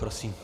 Prosím.